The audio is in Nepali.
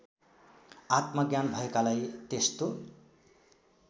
आत्मज्ञान भएकालाई त्यस्तो